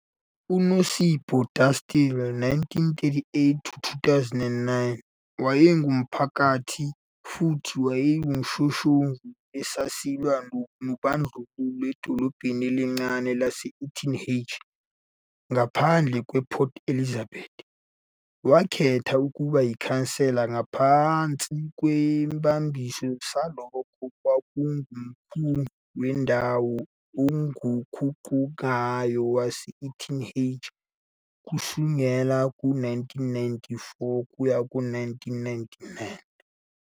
UNosipho Dastile, 1938-2009, wayengumphakathi futhi eyisishoshovu esasilwa nobandlululo edolobheni elincane lase- Uitenhage, ngaphandle kwasePort Elizabeth. Wakhethwa ukuba yikhansela ngaphansi kwesibambiso salokho okwakunguMkhandlu Wendawo Oguqukayo Wase-Uitenhage kusukela ngo-1994 kuya ku-1999.